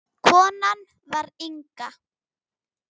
Konan var Inga.